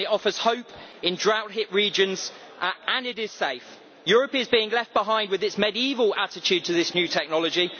it offers hope in drought hit regions, and it is safe. Europe is being left behind with its medieval attitude to this new technology.